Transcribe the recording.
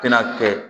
Tɛna kɛ